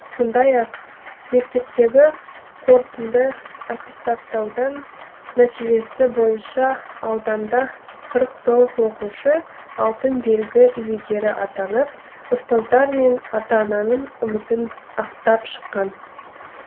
сондай ақ мектептегі қортынды аттестаттаудан нәтижесі бойынша ауданда қырық тоғыз оқушы алтын белгі иегері атанып ұстаздар мен ата ананың үмітін ақтап шыққан